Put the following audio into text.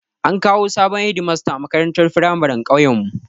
An kawo sabon Hedimasta makarantar firamarin ƙauyen mu